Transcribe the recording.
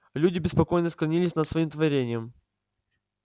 люди беспокойно склонились над своим творением